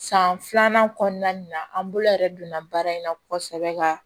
San filanan kɔnɔna nin na an bolo yɛrɛ donna baara in na kosɛbɛ ka